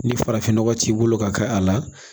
Ni farafinnɔgɔ t'i bolo ka k'a la